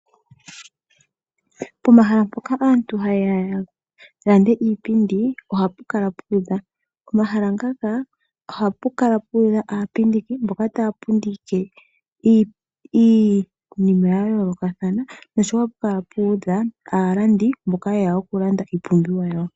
Pomahala mpoka aantu ha yeya ya lande iipindi ohapu kala puudha. Komahala ngaka ohapu kala puudha aapindiki mboka taa pindike iinima ya yoolokathana noshowo ohapu kala puudha aalandi mboka yeya oku landa iipumbiwa yawo.